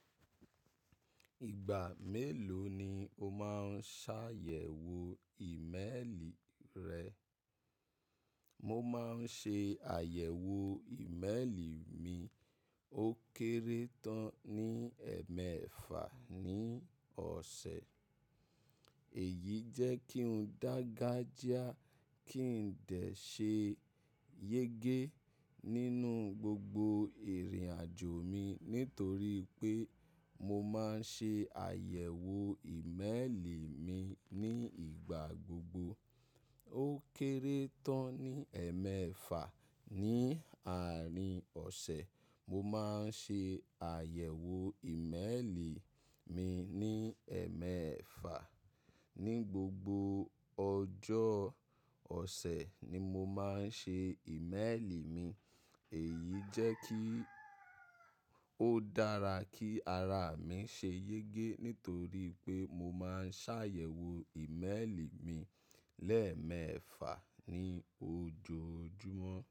Ìgbà mélòó ni o máa ń ṣàyẹ̀wò ìmélì rẹ? Mo máa ń ṣe àyẹ̀wò ìmélì mi ó kéré tán ní ẹẹ́mẹ́fà ní ọ̀sẹ̀. Èyí jẹ́ kí n dágajiá, kí n dẹ̀ ṣe yégé nínú gbogbo ìrìnàjò mi nítorí pé mo máa ń ṣe àyẹ̀wò ìmélì mi ní ìgbà gbogbo. Ó kéré tán ní ẹẹ́mẹ́fà. Ni àárín ọ̀sẹ̀, mo máa ń ṣe àyẹ̀wò ìmélì mi ní ẹẹ́mẹ́fà. Ni gbogbo ọjọ́ ọ̀sẹ̀ ni mo máa ń ṣe ìmélì mi. Èyí jẹ́ kí ó dára kí ara mi ṣe yégé nítorí pé mo máa ń ṣàyẹ̀wò ìmélì mi lẹ́ẹ́mẹ́fà ní ojoojúmọ́.